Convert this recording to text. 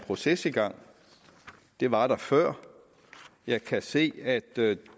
proces i gang det var der før jeg kan se at